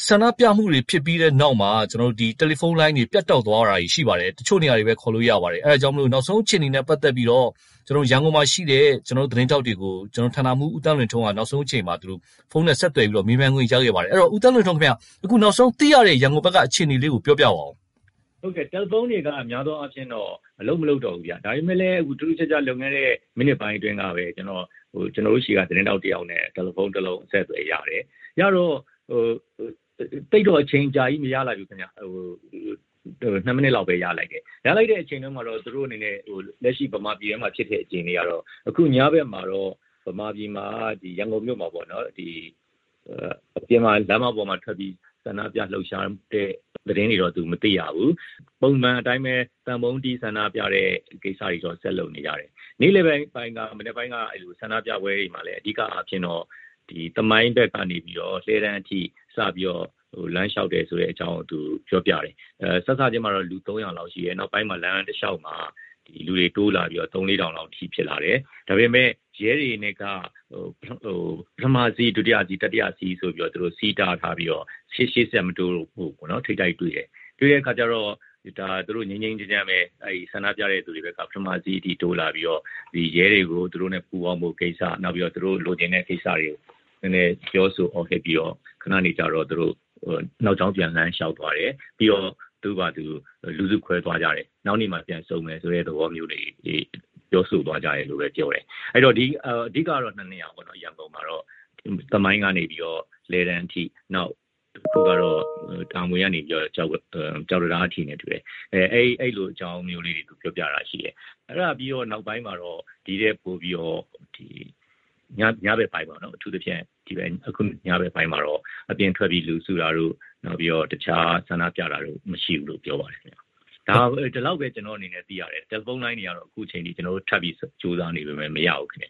ဆန္ဒပြတာတွေဖြစ်ပြီးတဲ့နောက်မှာ တယ်လီဖုံးလိုင်းတွေ ပြတ်တောက်သွားပါတယ်။ တချို့နေရာတွေပဲ ခေါ်လို့ရပါတယ်။ အဲဒါကြောင့်မို့လို့ နောက်ဆုံးအခြေအနေနဲ့ပတ်သက်ပြီးတော့ ရန်ကုန်မှာရှိတဲ့ ကျနော်တို့သတင်းထောက်တွေကို ဌာနမှူး ဦးသန်းလွင်ထွန်းက နောက်ဆုံးအချိန်မှာ ဖုံးနဲ့ဆက်သွယ်ပြီးတော့ မေးမြန်းခွင့်ရခဲ့ပါတယ်။ အဲဒီတော့ ဦးသန်းလွင်ထွန်းခင်ဗျား - အခု နောက်ဆုံးသိရတဲ့ ရန်ကုန်ဘက်က အခြေအနေလေးကို ပြောပြပါအုံး။ ဦးသန်းလွင်ထွန်း။ ။ ဟုတ်ကဲ့၊ တယ်လီဖုံးတွေက များသောအားဖြင့်တော့ အလုပ်မလုပ်တော့ဘူး ဗျ။ ဒါပေမယ့်လည်း လွန်ခဲ့တဲ့မိနစ်ပိုင်းအတွင်းကပဲ ကျနော်တို့ဆီက သတင်းထောက်တယောက်နဲ့ တယ်လီဖုံးတလုံး အဆက်အသွယ်ရတယ်။ သိပ်တော့ အချိန်အကြာကြီး မရလိုက်ဘူးခင်ဗျ။ ၂ မိနစ်လောက်ပဲ ရလိုက်တယ်။ အဲဒီအချိန်အတွင်းမှာတော့ သူတို့အနေနဲ့ လက်ရှိ ဗမာပြည်ထဲမှာ ဖြစ်တဲ့အခြေအနေကတော့ အခု ညဘက်မှာတော့ ဗမာပြည်မှာ - ရန်ကုန်မြို့မှာပေါ့နော်- အပြင်မှာ လမ်းမပေါ်မှာထွက်ပြီး ဆန္ဒပြလှုပ်ရှားတဲ့သတင်းတွေတော့ သူမသိရဘူး။ ပုံမှန်အတိုင်းပဲ သံပုံးတီးဆန္ဒပြတဲ့ကိစ္စတွေတော့ ဆက်လုပ်နေကြတယ်။ နေ့လည်ဘက်၊ မနက်ဘက်ပိုင်းက ဆန္ဒပြပွဲတွေမှာလည်း အဓိကအားဖြင့်တော့ သမိုင်းဘက်ကနေပြီးတော့ လှည်းတန်းအထိ စပြီးတော့ လမ်းလျှောက်တယ်ဆိုတဲ့အကြောင်း သူပြောပြတယ်။ စစချင်းမှာတော့ လူ ၃၀၀ လောက်ရှိတယ်။ နောက်ပိုင်းမှာ လမ်းတလျှောက်မှာ လူတွေတိုးလာပြီးတော့ သုံး-လေး ထောင်လောက်အထိ ဖြစ်လာတယ်။ ဒါပေမယ့် ရဲတွေနဲ့က ပထမစည်း၊ ဒုတိယစည်း၊ တတိယစည်းဆိုပြီး စည်းတားထားပြီး ရှေ့ဆက်မတိုးဖို့ ထိပ်တိုက်တွေ့တယ်။ တွေ့တဲ့အခါကျတော့ ငြိမ်းငြိမ်းချမ်းချမ်းပဲ ဆန္ဒပြသူတွေဘက်က ပထမစည်းအထိ တိုးလာပြီးတော့ ရဲတွေကို သူတို့နဲ့ပူးပေါင်းဖို့ကိစ္စ၊ နောက်ပြီးတော့ သူတို့လိုချင်တဲ့ကိစ္စတွေကို နည်းနည်း ပြောဆိုအော်ဟစ်ပြီးတော့ ညနေကျတော့ သူတို့ နောက်ကြောင်းပြန် လမ်းလျှောက်သွားတယ်။ ပြီးတော့ သူ့ဖာသူ လူစုခွဲသွားကြတယ်။ နောက်နေ့မှာ ပြန်ဆုံမယ်ဆိုတဲ့သဘောမျိုးတွေ ပြောဆိုသွားကြတယ်လို့ပဲပြောတယ်။ အဓိကကတော့ ၂ နေရာပေါ့နော် ရန်ကုန်မှာတော့။ သမိုင်းကနေ လှည်းတန်းအထိ၊ နောက်တခုကတော့ တာမွေကနေပြီးတော့ ကျောက်တံတားအထိနဲ့တူတယ်။ အဲဒီလိုအကြောင်းမျိုးလေးတွေကို ပြောပြတာရှိတယ်။ အဲဒါပြီးတော့ နောက်ပိုင်းမှာတော့ အထူးသဖြင့် ညဘက်ပိုင်းမှာတော့ အပြင်ထွက်ပြီးလူစုတာတို့၊ တခြား ဆန္ဒပြတာတို့ မရှိဘူးလို့ ပြောပါတယ်။ ဒါလောက်ပဲ ကျနော့်အနေနဲ့သိရတယ်။တယ်လီဖုံးလိုင်းတွေကတော့ အခုအချိန်အထိ ကျနော်တို့ထပ်ပြီးကြိုးစားနေပေမယ့် မရဘူးခင်